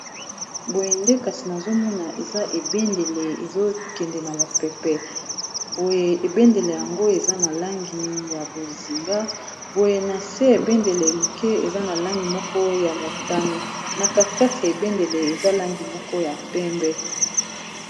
Bo yende kasi nazomona eza ebendele ezokende na mopepe boye ebendele yango eza na langi ya bozinga boye na se ebendele moke eza na langi moko ya motane na katikati ya ebendele eza langi moko ya pembe